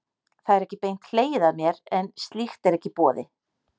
Það er ekki beint hlegið að mér, en slíkt er ekki í boði.